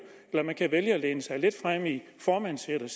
eller man kan vælge at læne sig lidt frem i formandssædet og